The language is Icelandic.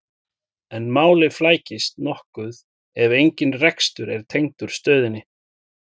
en málið flækist nokkuð ef engin rekstur er tengdur stöðinni